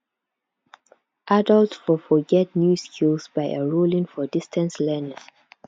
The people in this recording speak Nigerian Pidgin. adult for for get new skills by enrolling for distance learning